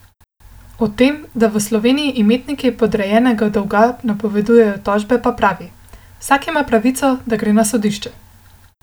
O tem, da v Sloveniji imetniki podrejenega dolga napovedujejo tožbe, pa pravi: "Vsak ima pravico, da gre na sodišče.